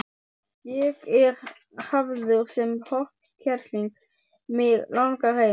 Ég er hafður sem hornkerling, mig langar heim.